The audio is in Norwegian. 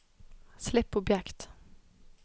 slipp objekt